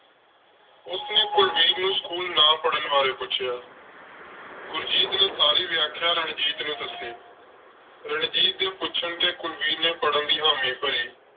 ਉਸਨੇ ਕੁਲਵੀਰ ਨੂੰ school ਨਾ ਪੜਨ ਬਾਰੇ ਪੁੱਛਿਆ ਗੁਰਜੀਤ ਨੇ ਸਾਰੀ ਵਿਆਖਿਆ ਰਣਜੀਤ ਨੂੰ ਦੱਸੀ। ਰਣਜੀਤ ਦੇ ਪੁੱਛਣ ਤੇ ਕੁਲਵੀਰ ਨੇ ਪੜ੍ਹਨ ਦੀ ਹਾਮੀ ਭਰੀ।